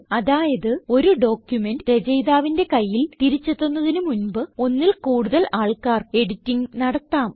അതായത് ഒരു ഡോക്യുമെന്റ് രചയിതാവിന്റെ കയ്യിൽ തിരിച്ച് എത്തുന്നതിന് മുൻപ് ഒന്നിൽ കൂടുതൽ ആൾക്കാർ എഡിറ്റിംഗ് നടത്താം